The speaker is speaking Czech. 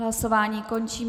Hlasování končím.